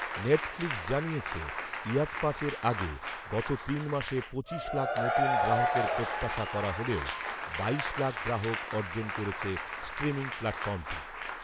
Netflix জানিয়েছে ইয়াতপাঁচ এর আগে গত তিন মাসে পঁচিশ লাখ নতুন গ্রাহকের প্রত্যাশা করা হলেও বাইশ লাখ গ্রাহক অর্জন করেছে স্ট্রিমিং প্লাটফর্মটি।